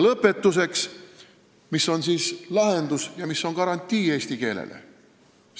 Lõpetuseks: mis on lahendus ja mis on garantii, et eesti keel püsib?